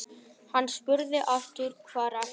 Hann spurði aftur: Hvar ertu?